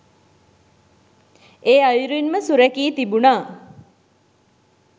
ඒ අයුරින් ම සුරැකී තිබුණා.